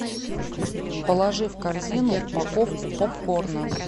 положи в корзину упаковку попкорна